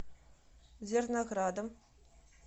зерноградом